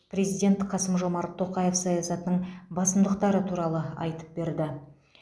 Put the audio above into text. президент қасым жомарт тоқаев саясатының басымдықтары туралы айтып берді